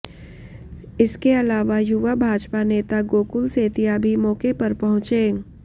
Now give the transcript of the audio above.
इसके अलावा युवा भाजपा नेता गोकुल सेतिया भी मौके पर पहुंचे